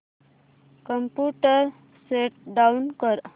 computer shut down कर